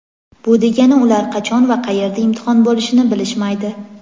Bu degani ular qachon va qayerda imtihon bo‘lishini bilishmaydi.